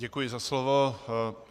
Děkuji za slovo.